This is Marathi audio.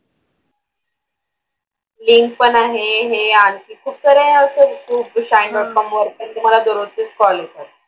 ते पण आहे. हे आणखी खुपसाऱ्या अशा shine dot com वर पण तुम्हाला दररोजचेच call येतात.